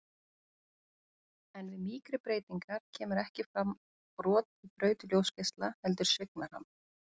En við mýkri breytingar kemur ekki fram brot í braut ljósgeisla, heldur svignar hann.